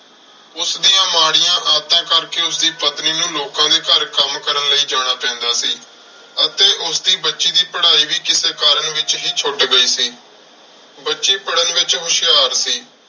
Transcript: ਉਸ ਦੀਆਂ ਮਾੜੀਆਂ ਆਦਤਾਂ ਕਰਕੇ ਉਸਦੀ ਪਤਨੀ ਨੂੰ ਲੋਕਾਂ ਦੇ ਘਰ ਕੰਮ ਕਰਨ ਲਈ ਜਾਣਾ ਪੈਂਦਾ ਸੀ ਅਤੇ ਉਸਦੀ ਬੱਚੀ ਦੀ ਪੜ੍ਹਾਈ ਵੀ ਕਿਸੇ ਕਾਰਨ ਵਿੱਚ ਹੀ ਛੁੱਟ ਗਈ ਸੀ। ਬੱਚੀ ਪੜਨ ਵਿੱਚ ਹੁਸ਼ਿਆਰ ਸੀ।